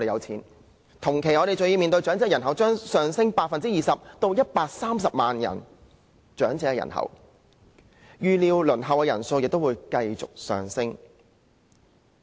同時，我們還要面對長者人數將上升 20% 至130萬人，預料輪候安老院舍的人數亦會繼續上升。